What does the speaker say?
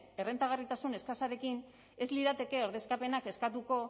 errentagarritasun eskasarekin ez lirateke ordezkapenak eskatuko